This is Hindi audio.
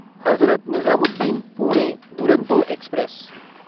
हज़रत निज़ामुद्दीन पुणे दुरंतो एक्सप्रेस